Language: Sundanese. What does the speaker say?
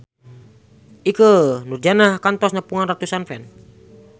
Ikke Nurjanah kantos nepungan ratusan fans